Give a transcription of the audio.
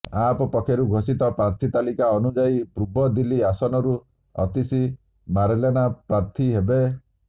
app ପକ୍ଷରୁ ଘୋଷିତ ପ୍ରାର୍ଥୀ ତାଲିକା ଅନୁଯାୟୀ ପୂର୍ବ ଦିଲ୍ଲୀ ଆସନରୁ ଅତିଶୀ ମାର୍ଲେନା ପ୍ରାର୍ଥୀ ହେବେ